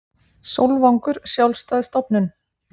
Sólvangur sjálfstæð stofnun